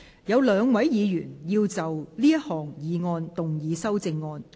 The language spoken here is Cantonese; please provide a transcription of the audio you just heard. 有兩位議員要就這項議案動議修正案。